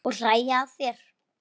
Og hlæja að þér.